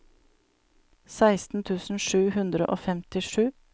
seksten tusen sju hundre og femtisju